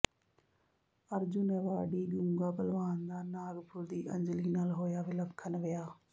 Arjun awardee ਗੂੰਗਾ ਭਲਵਾਨ ਦਾ ਨਾਗਪੁਰ ਦੀ ਅੰਜਲੀ ਨਾਲ ਹੋਇਆ ਵਿਲੱਖਣ ਵਿਆਹ